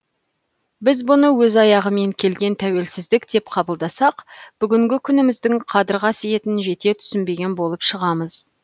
біз бұны өз аяғымен келген тәуелсіздік деп қабылдасақ бүгінгі күніміздің қадір қасиетін жете түсінбеген болып шығамыз